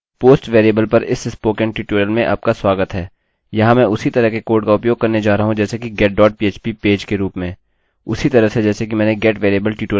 post post variable पर इस spoken tutorial में आपका स्वागत है यहाँ मैं उसी तरह के कोड़ का उपयोग करने जा रहा हूँ जैसे कि getphp पेज के रूप में उसी तरह से जैसे कि मैंने get वेरिएबल ट्यूटोरियल में किया